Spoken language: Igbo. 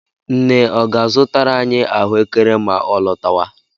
Nne ọ ga-azụtara anyị ahụekere ma ọ lọtawa?